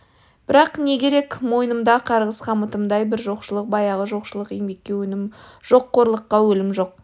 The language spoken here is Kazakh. бірақ не керек мойнымда қарғыс қамытымдай бір жоқшылық баяғы жоқшылық еңбекке өнім жоқ қорлыққа өлім жоқ